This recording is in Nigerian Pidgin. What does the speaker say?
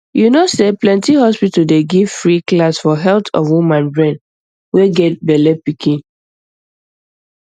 you know say plenty hospital dey give free class for health of woman brain way get bellepikin